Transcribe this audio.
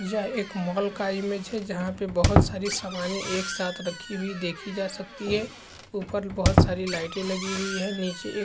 यह एक मॉल का इमेज हैजहाँ पर बहुत सारी सामाने एक साथ रखी हुई देखी जा सकती है ऊपर बहुत सारी लाइटे लगी हुई है नीचे एक --